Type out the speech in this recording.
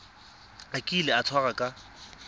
a kile a tshwarwa ka